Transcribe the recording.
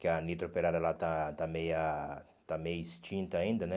Que a Nitro Operária lá está está meia está meio extinta ainda, né?